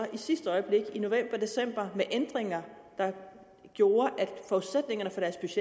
sidste øjeblik i november december med ændringer der gjorde